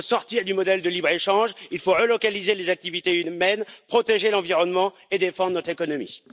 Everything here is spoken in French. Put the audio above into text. Il faut sortir du modèle de libre échange, il faut relocaliser les activités humaines, protéger l'environnement et défendre notre économie.